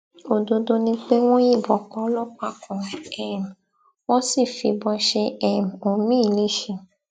òdodo ni pé wọn yìnbọn pa ọlọpàá kan um wọn sì fìbọn ṣe um omiín lẹsẹ